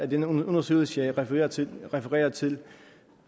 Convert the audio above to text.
den undersøgelse jeg refererede til refererede til